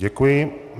Děkuji.